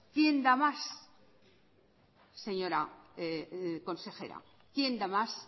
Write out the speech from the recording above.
quién da más señora consejera quién da más